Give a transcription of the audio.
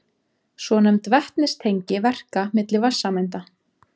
Svonefnd vetnistengi verka milli vatnssameinda.